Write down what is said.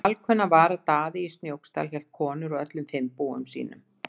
Alkunna var að Daði í Snóksdal hélt konur á öllum fimm búum sínum.